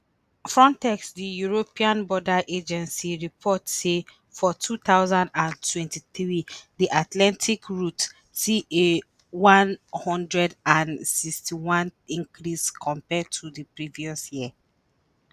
frontex di european border agency report say for 2023 di atlantic route see a 161 percent increase compared to di previous year.